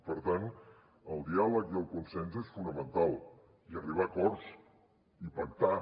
per tant el diàleg i el consens és fonamental i arribar a acords i pactar